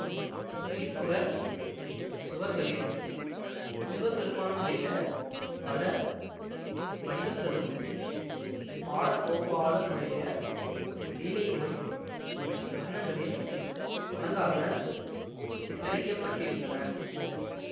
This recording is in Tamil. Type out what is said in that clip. பின்புறச் சுவர்களில் சிவபெருமானுடைய பல வடிவங்களும் பாலகோபாலனுடைய லீலைகளும் வர்ணங்களில் அழகாக சித்தரிக்கப்பட்டிருந்தன